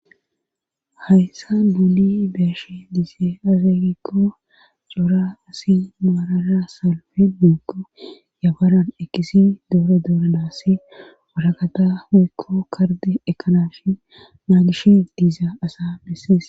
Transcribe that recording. Hayssan nuuni be7ishe deyssi aaze giikko cora asi maarar salfi woykko yafaran eqqizi dooro dooranassi waraqata woykko kardde ekkanaassi naagishe diza asa bessees.